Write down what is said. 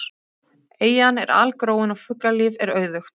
Eyjan er algróin og fuglalíf er auðugt.